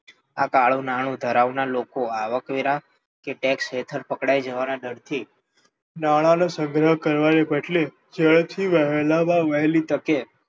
આ કાળું નાણું ધરાવનારા લોકો આવકવેરા કે સર્વિસ ટેક્સ હેઠળ પકડાઈ જવાના ડરથી નાણાંનો સંગ્રહ કરવાને બદલે ઝડપથી વહેલામાં વહેલી તકે